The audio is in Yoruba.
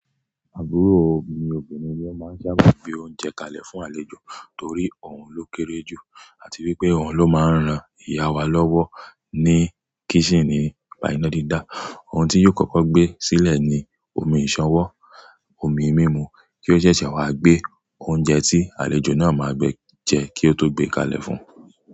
Àbúrò mi obìnrin ni ó máa ń sábà gbé oúnjẹ kalẹ̀ fún àlejò torí òun ló kéré jù àti wípé òun ló máa ń ran ìyá wa lọ́wọ́ ní kísìní nìpà ìná dídá. Ohun tí yóò kọ́kọ́ gbé sílẹ̀ ni omi ìsanwó, omi mímu kí ó ṣẹ̀ṣẹ̀ wá gbé oúnjẹ tí àlejò náà máa gbé jẹ kí ó tó gbé kalẹ̀ fún un.